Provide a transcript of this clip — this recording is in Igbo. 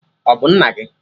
Ọ bụ nna gị?